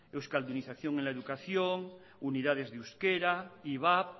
euskaldunización en la educación unidades de euskera ivap